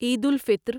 عید الفطر